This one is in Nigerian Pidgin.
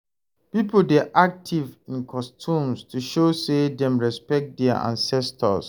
Pipo dey active in customs to show say dem respekt dia ancestors